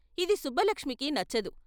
ఇది సుబ్బలక్ష్మికి నచ్చదు.